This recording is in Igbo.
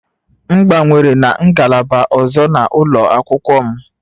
M gbanwere na ngalaba ọzọ n'ụlọ akwụkwọ m